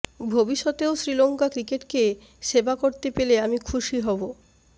ভবিষ্যতেও শ্রীলঙ্কা ক্রিকেটকে সেবা করতে পেলে আমি খুশি হব